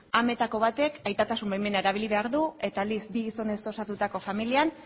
ametako batek aitatasun baimena erabili behar du eta aldiz bi gizonez osatutako familian